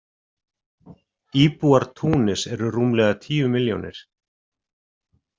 Íbúar Túnis eru rúmlega tíu milljónir.